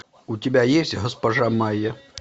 у тебя есть госпожа майя